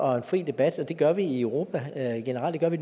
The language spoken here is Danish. og fri debat det gør vi i europa generelt og det